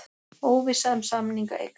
Óvissa um samninga eykst